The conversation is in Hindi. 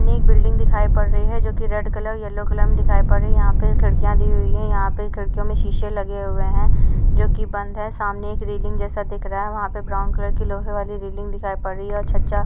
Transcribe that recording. ने एक बिल्डिंग दिखाई पड़ रही है जो कि रेड कलर येलो कलर में दिखाई पड़ रही है। यहां पे खिड़कियां दी हुई हैं। यहां पे खिड़कियों पे शीशे लगे हुए हैं जो कि बंद है। सामने एक रेलिंग जैसा दिख रहा है। वहां पर ब्राउन कलर के लोहे वाली रेलिंग दिखाई पड़ रही हैं और छज्जा --